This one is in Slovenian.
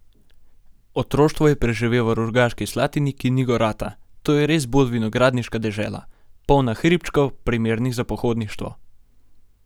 Otroštvo je preživel v Rogaški Slatini, ki ni gorata: "To je res bolj vinogradniška dežela, polna hribčkov, primernih za pohodništvo.